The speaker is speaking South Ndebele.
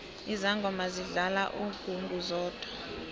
izangoma zidlala ingungu zodwa